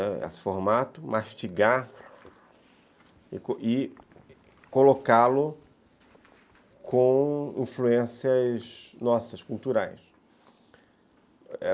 Ãh, esse formato, mastigar e colocá-lo com influências nossas, culturais.